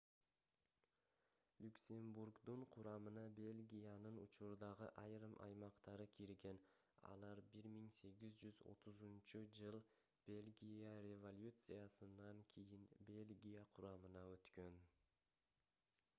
люксембургдун курамына бельгиянын учурдагы айрым аймактары кирген алар 1830-ж бельгия революциясынан кийин бельгия курамына өткөн